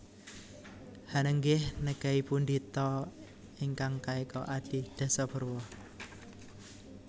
Hanenggih negai pundi ta ingkang kaeka adi dasa purwa